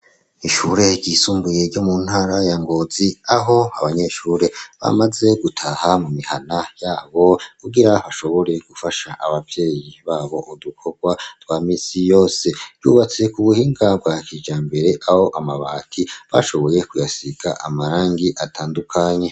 Ishure ryisumbuye ryo mu ntara ya ngozi aho abanyeshure bamaze gutaha mu mihana yabo, kugira bashobore gufasha abavyeyi babo udukorwa twa misi yose, ryubatse ku buhinga bwa kijambere aho amabati bashoboye kuyasiga amarangi atandukanye.